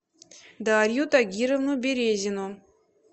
дарью тагировну березину